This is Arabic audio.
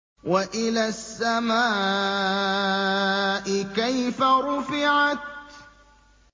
وَإِلَى السَّمَاءِ كَيْفَ رُفِعَتْ